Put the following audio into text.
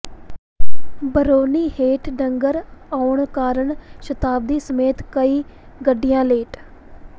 brownie ਹੇਠ ਡੰਗਰ ਆਉਣ ਕਾਰਨ ਸ਼ਤਾਬਦੀ ਸਮੇਤ ਕਈ ਗੱਡੀਆਂ ਲੇਟ